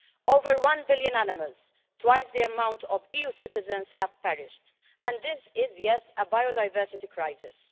Over one billion animals twice the amount of EU citizens have perished. And this is, yes, a biodiversity crisis.